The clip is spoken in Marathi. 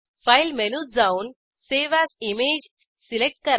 फाइल मेनूत जाऊन सावे एएस इमेज सिलेक्ट करा